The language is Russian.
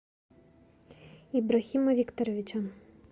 иброхима викторовича